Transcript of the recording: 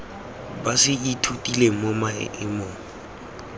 ba se ithutileng mo maemong